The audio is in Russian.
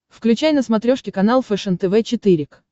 включай на смотрешке канал фэшен тв четыре к